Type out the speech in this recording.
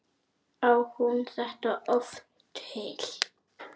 Á hún þetta oft til?